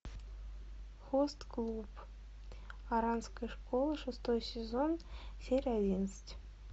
хост клуб оранской школы шестой сезон серия одиннадцать